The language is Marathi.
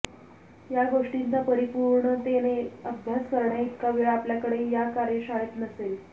या गोष्टींचा परिपूणतेने अभ्यास करण्याइतका वेळ आपल्याकडे या कार्यशाळेत नसेल